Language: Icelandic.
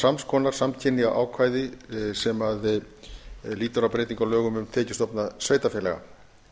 sams konar samkynja ákvæði sem lýtur að breytingu á lögum um tekjustofna sveitarfélaga